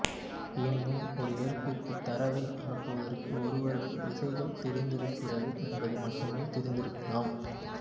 எனினும் ஒரு ஏற்பிக்கு தரவை அனுப்புவதற்கு ஒருவருக்கு விசைகள் தெரிந்திருக்கிறது என்பது மட்டுமே தெரிந்திருக்கலாம்